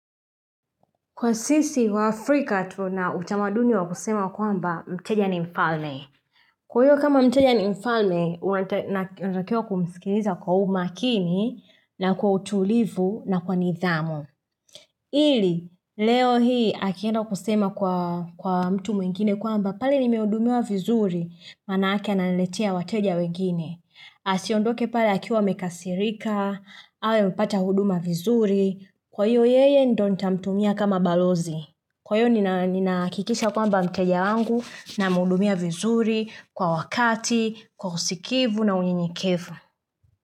Kwa sisi waafrika tuna utamaduni wa kusema kwamba mteja ni mfalme. Kwa hiyo kama mteja ni mfalme, unatakiwa kumsikiliza kwa umakini na kwa utulivu na kwa nidhamu. Ili, leo hii akienda kusema kwa mtu mwingine kwamba pale nimehudumiwa vizuri manaake ananiletea wateja wengine. Asiondoke pale akiwa amekasirika, awe amepata huduma vizuri. Kwa hiyo yeye ndio nitamtumia kama balozi. Kwa hiyo ninahakikisha kwamba mteja wangu namhudumia vizuri kwa wakati, kwa usikivu na unyenyekevu.